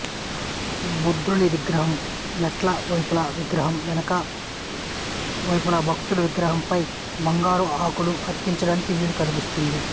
బుద్ధుని విగ్రహం మెట్ల వైపులా విగ్రహం వెనుక వెనుక వైపులా భక్తులకు విగ్రహంపై బంగారు ఆకులను అతికించడానికి వీలు కల్పిస్తుంది